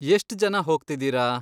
ಎಷ್ಟ್ ಜನ ಹೋಗ್ತಿದೀರ?